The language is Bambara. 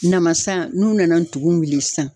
Namasa n'u nana n tugun wuli sisan.